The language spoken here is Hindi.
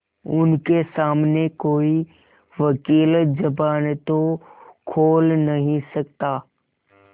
उनके सामने कोई वकील जबान तो खोल नहीं सकता